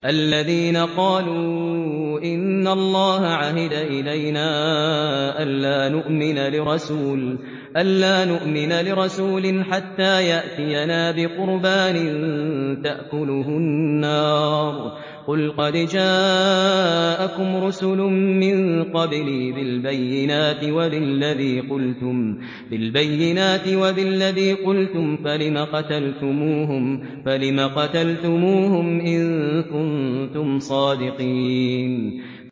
الَّذِينَ قَالُوا إِنَّ اللَّهَ عَهِدَ إِلَيْنَا أَلَّا نُؤْمِنَ لِرَسُولٍ حَتَّىٰ يَأْتِيَنَا بِقُرْبَانٍ تَأْكُلُهُ النَّارُ ۗ قُلْ قَدْ جَاءَكُمْ رُسُلٌ مِّن قَبْلِي بِالْبَيِّنَاتِ وَبِالَّذِي قُلْتُمْ فَلِمَ قَتَلْتُمُوهُمْ إِن كُنتُمْ صَادِقِينَ